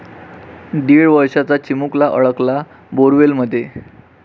दीड वर्षाचा चिमुलका अडकला बोअरवेलमध्ये